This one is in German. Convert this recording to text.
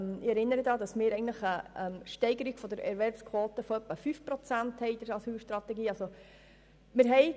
Ich erinnere daran, dass eine Steigerung der Erwerbsquote von 5 Prozent in der Asylstrategie vorgesehen ist.